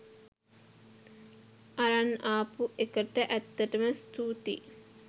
අරන් ආපු එකට ඇත්තටම ස්තුතියි.